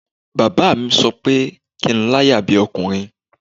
Baba mi sọ pé kí n láyà bí ọkùnrin